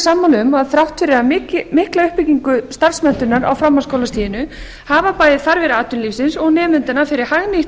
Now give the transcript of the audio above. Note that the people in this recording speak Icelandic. sammála um að þrátt fyrir mikla uppbyggingu starfsmenntunar á framhaldsskólastiginu hafa bæði þarfir atvinnulífsins og nemendanna fyrir hagnýtt